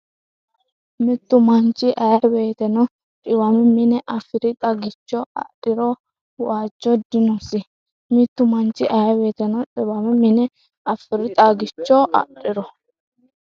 Mittu manchi aye woteno dhiwame mine afi’ri xagicho adhiro wajjo dinosi Mittu manchi aye woteno dhiwame mine afi’ri xagicho adhiro.